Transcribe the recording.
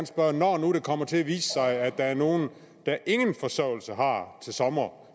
spørge når nu det kommer til at vise sig at der er nogle der ingen forsørgelse har til sommer